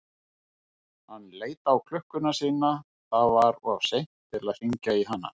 Hann leit á klukkuna sína, það var of seint til að hringja í hana.